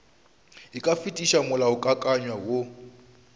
e ka fetiša molaokakanywa woo